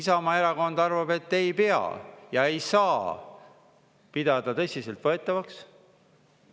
Isamaa erakond arvab, et ei pea ja ei saa pidada tõsiseltvõetavaks.